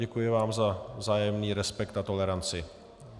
Děkuji vám za vzájemný respekt a toleranci.